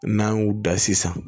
N'an y'u da sisan